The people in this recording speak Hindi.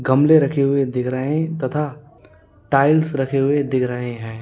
गमले रखे हुए दिख रहे हैं तथा टाइल्स रखे हुए दिख रहे हैं।